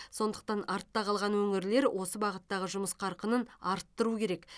сондықтан артта қалған өңірлер осы бағыттағы жұмыс қарқынын арттыру керек